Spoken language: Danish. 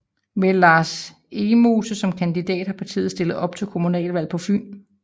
Med Lars Egmose som kandidat har partiet stillet op til kommunalvalg på Fyn